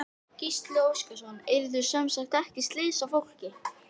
Gísli Óskarsson: Urðu semsagt ekki slys á fólki?